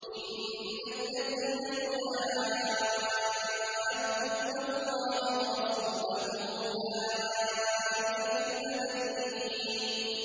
إِنَّ الَّذِينَ يُحَادُّونَ اللَّهَ وَرَسُولَهُ أُولَٰئِكَ فِي الْأَذَلِّينَ